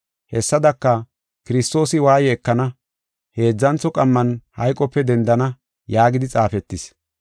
Hessadaka, “Kiristoosi waaye ekana, heedzantho qamman hayqope dendana yaagidi xaafetis.